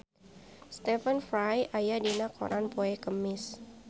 Stephen Fry aya dina koran poe Kemis